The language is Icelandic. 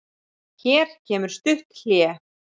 Hér kemur stutt hlé.